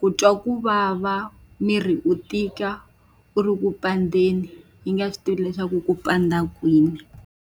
ku twa ku vava, miri wu tika wu ri ku pandzeni, u yi nga swi tivi leswaku ku pandza kwini.